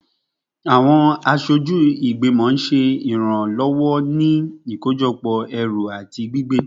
Awọn aṣoju igbimọ ṣe iranlọwọ ni iṣakojọpọ ikojọpọ ẹru ati gbigbe